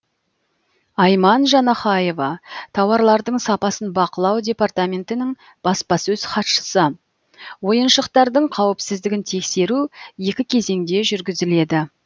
айман жанахаева тауарлардың сапасын бақылау департаментінің баспасөз хатшысы ойыншықтардың қауіпсіздігін тексеру екі кезеңде жүргізіледі